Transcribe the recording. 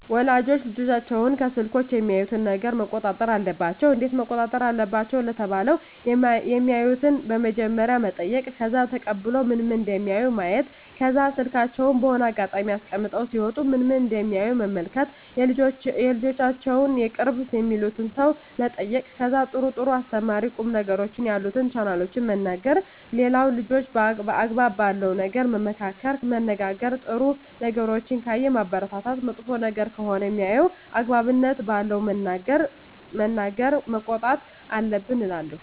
ወላጆች ልጆቻቸውን ከስልኮች የሚያዩትን ነገረ መቆጣጠር አለባቸው እንዴት መቆጣጠር አለባቸው ለተባለው የማዩትን በመጀመሪያ መጠይቅ ከዛ ተቀብሎ ምን ምን እደሚያዩ ማየት ከዛ ስልካቸውን በሆነ አጋጣሚ አስቀምጠው ሲወጡ ምን ምን እደሚያዩ መመልከት የልጆቻቸውን የቅርብ የሚሉትን ሰው መጠየቅ ከዛ ጥሩ ጥሩ አስተማሪ ቁም ነገሮችን ያሉትን ቻናሎችን መንገር ሌላው ልጆችን አግባብ ባለው ነገር መመካከር መነጋገር ጥሩ ነገሮችን ካየ ማበረታታት መጥፎ ነገር ከሆነ ሜያየው አግባብነት ባለው ነገር መናገር መቆጣት አለብን እላለው